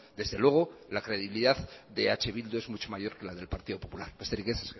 desde luego la credibilidad de eh bildu es mucho mayor que la del partido popular besterik ez